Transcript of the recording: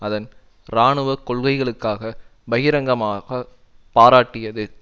அதன் இராணுவ கொள்கைகளுக்காக பகிரங்கமாகப் பாராட்டியது